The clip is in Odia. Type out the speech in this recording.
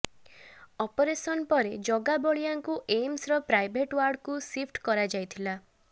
ଅପରେସନ୍ ପରେ ଜଗା ବଳିଆଙ୍କୁ ଏମସ୍ର ପ୍ରାଇଭେଟ୍ ଓ୍ବାର୍ଡକୁ ସିଫ୍ଟ କରାଯାଇଥିଲା